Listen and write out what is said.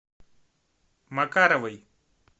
макаровой